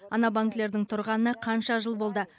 ана банкілердің тұрғанына қанша жыл болды